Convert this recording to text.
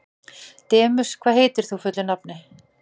Demus, hvað heitir þú fullu nafni?